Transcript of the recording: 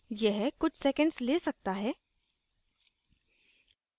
यह कुछ सेकण्ड्स ले सकता है